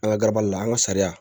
An ka garabali la an ka sariya